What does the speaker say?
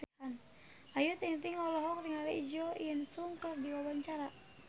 Ayu Ting-ting olohok ningali Jo In Sung keur diwawancara